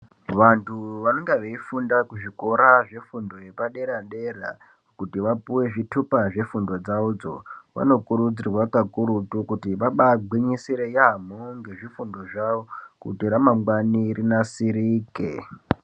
Vantu vanenga veifunda kuzvikora zvefundo yepadera-dera kuti vapuve zvitupa zvefundo dzavodzo. Vanokuridzirwa kakurutu kuti vabagwinyisire yaamho ngezvifundo zvavo, kuti ramangwani rinasirike.